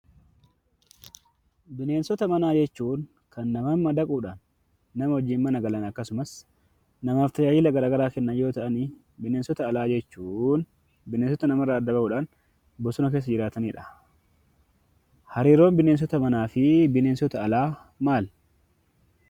Bineensota manaa jechuun kan namatti madaquudhaan nama wajjin mana galan akkasumas namaaf tajaajila garaagaraa kennan yoo ta'an, bineensota alaa jechuun bineensota nama irraa adda bahuun bosona keessa jiraatanidha. Hariiroon bineensota manaa fi bineensota alaa maali?